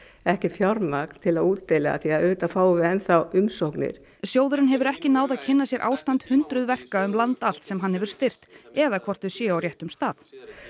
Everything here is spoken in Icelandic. ekkert fjármagn til að útdeila því við fáum enn þá umsóknir sjóðurinn hefur ekki náð að kynna sér ástand hundruð verka um land allt sem hann hefur styrkt eða hvort þau séu á réttum stað